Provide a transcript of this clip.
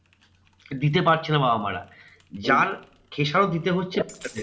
দিতে পারছে না বাবা মা রা। যার খেসারত দিতে হচ্ছে বাচ্চাদেরকে।